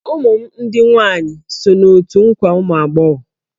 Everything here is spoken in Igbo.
Ụmụ m ndị nwaanyị so n'otù nkwa ụmụ agbọghọ.